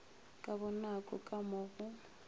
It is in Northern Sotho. ka bonako ka mo go